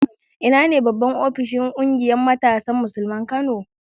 Ina ne babban ofishin ƙungiyar matasan Musulmin Kano?